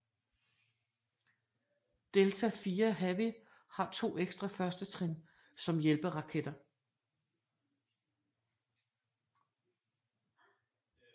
Delta IV Heavy har to ekstra førstetrin som hjælperaketter